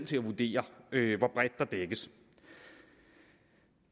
til at vurdere hvor bredt der dækkes